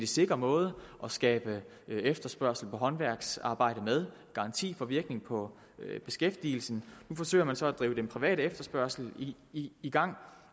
sikker måde at skabe efterspørgsel efter håndværksarbejde med garanti får virkning på beskæftigelsen nu forsøger man så at drive den private efterspørgsel i i gang